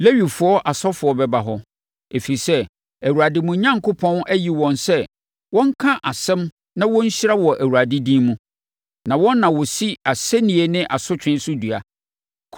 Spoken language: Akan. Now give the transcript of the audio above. Lewifoɔ asɔfoɔ bɛba hɔ, ɛfiri sɛ, Awurade, mo Onyankopɔn, ayi wɔn sɛ wɔnka asɛm na wɔnhyira wɔ Awurade din mu. Na wɔn na wɔsi asɛnnie ne asotwe so dua.